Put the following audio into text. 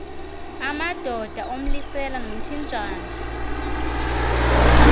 amadoda umlisela nomthinjana